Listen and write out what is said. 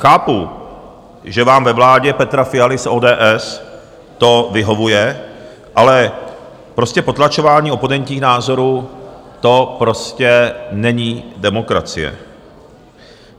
Chápu, že vám ve vládě Petra Fialy z ODS to vyhovuje, ale prostě potlačování oponentních názorů, to prostě není demokracie.